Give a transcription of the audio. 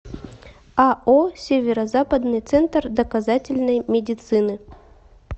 ао северо западный центр доказательной медицины